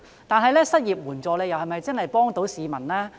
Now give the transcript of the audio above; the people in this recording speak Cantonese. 但是，失業援助是否真的能幫助市民？